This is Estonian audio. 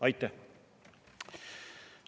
Aitäh!